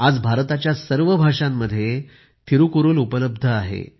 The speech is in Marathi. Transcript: आज भारताच्या सर्व भाषांमध्ये थिरूकुरूल उपलब्ध आहे